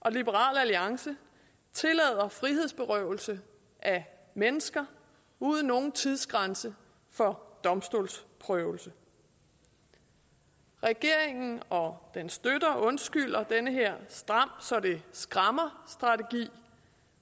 og liberal alliance tillader frihedsberøvelse af mennesker uden nogen tidsgrænse for domstolsprøvelse regeringen og dens støtter undskylder den her stram så det skræmmer strategi